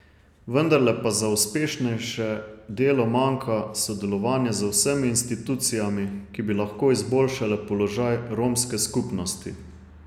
Vendarle pa za uspešnejše delo manjka sodelovanje z vsemi institucijami, ki bi lahko izboljšale položaj romske skupnosti.